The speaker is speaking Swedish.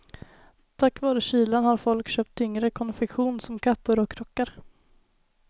Tack vare kylan har folk köpt tyngre konfektion som kappor och rockar.